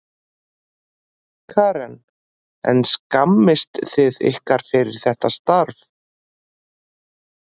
Karen: En skammist þið ykkar fyrir þetta starf?